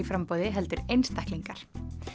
framboði heldur einstaklingar